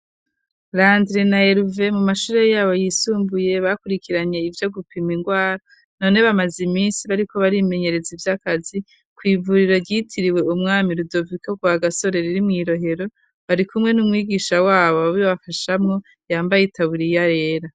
Landre na Herve mu mashure yabo yisumbuye bakurikiranye ivyo gupima indwara none bamaze iminsi bariko bari imenyereza ivyakazi ku ivuriro ryitiriwe umwami Rudoviko Rwagasore riri mw'irohero bari kumwe n'umwigisha wabo babi bafashamwo yambaye itaburiya rero.